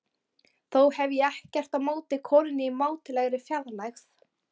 Þó hef ég ekkert á móti konunni í mátulegri fjarlægð.